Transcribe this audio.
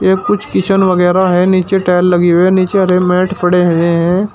ये कुछ किचन वगैरा हैं नीचे टाइल लगी हुई हैं नीचे हरे मैट पड़े हुए हैं।